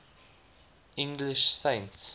english saints